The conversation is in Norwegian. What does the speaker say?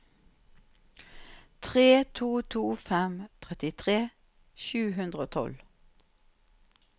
tre to to fem trettitre sju hundre og tolv